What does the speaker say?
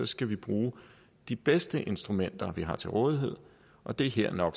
skal vi bruge de bedste instrumenter vi har til rådighed og det er her no